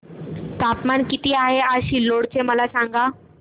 तापमान किती आहे आज सिल्लोड चे मला सांगा